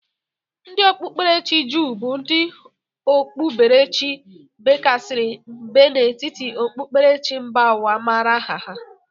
Ndị okpuberechi jụụ bụ ndị okpuberechi bekasiri mbe n'etiti okpukperechi mba ụwa amara aha ha.